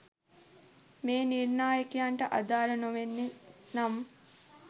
එම නිර්නාකයන්ට අදාළ නොවන්නේ නම්